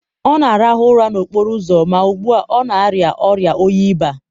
ọ na-arahụ ụra n'okporo ụzọ ma ugbu a, ọ na-arịa ọrịa oyi baa.